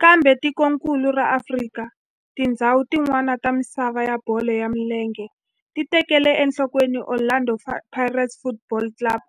Kambe tikonkulu ra Afrika na tindzhawu tin'wana ta misava ya bolo ya milenge ti tekele enhlokweni Orlando Pirates Football Club